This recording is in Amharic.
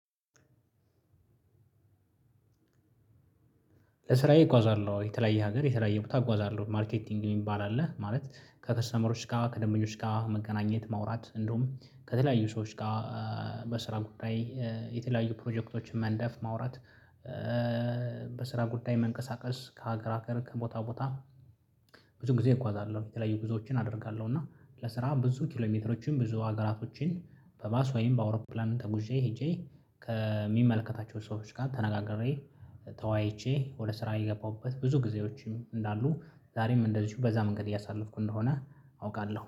ለስራዬ እጓዛለሁ ወይ የተለያየ ሀገር የተለያየ ቦታ እጓዛለሁ ማርኬቲንግ የሚባል አለ ማለት ከከስተመሮች ጋር ከደንበኞች ጋር መገናኘት ማውራት እንደውም ከተለያዩ ሰዎች ጋር። በስራ ጉዳይ የተለያዩ ፕሮጀክቶችን መንደፍ ማውራት። በስራ ጉዳይ መንቀሳቀስ ከሀገር ሀገር ከቦታ ቦታ። ብዙ ጊዜ እጓዛለሁ የተለያዩ ጉዞዎችን አደርጋለሁ እና ለስራ ብዙ ኪሎሜትሮችን ብዙ ሀገራቶችን በባስ ወይም በአውሮፕላን ተጉዤ ሄጄ ከሚመልከታቸው ሰዎች ጋር ተነጋግሬ። ተዋይቼ ወደ ስራ የገባሁበት ብዙ ጊዜዎችም እንዳሉ ዛሬም እንደዚሁ በዛ መንገድ እያሳለፍኩ እንደሆነ አውቃለሁ